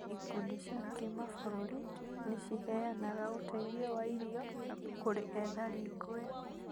Ikundi cia kĩmabũrũri nĩciheanaga ũteithio wa irio kũrĩ ethari ngũĩ